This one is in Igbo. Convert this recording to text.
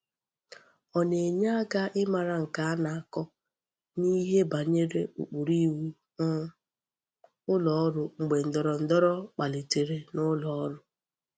O na-enye aka imara nke a na-ako n'ihe banyere ukpuru iwu um uloru mgbe ndoro ndoro kpaltere n'uloru.